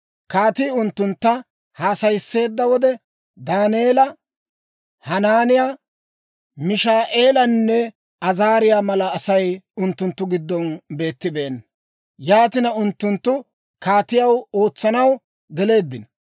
Kaatii unttuntta haasayisseedda wode, Daaneela, Hanaaniyaa, Mishaa'eelanne Azaariyaa mala Asay unttunttu giddon beettibeenna. Yaatina, unttunttu kaatiyaw ootsanaw geleeddino.